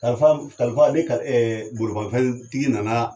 Kalifa kalifa ni kali bolimafɛntigi nana